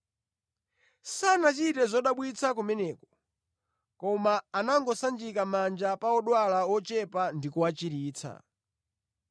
Sanachite zodabwitsa kumeneko, koma anangosanjika manja pa odwala ochepa ndi kuwachiritsa.